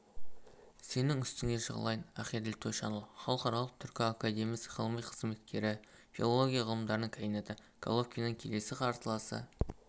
сенің үстіңе жығылайын ақеділ тойшанұлы халықаралық түркі академиясы ғылыми қызметкері филология ғылымдарының кандидаты головкиннің келесі қарсыласы